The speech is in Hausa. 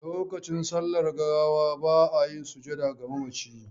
Lokacin sallar gawa ba a yin sujjada ga mamaci.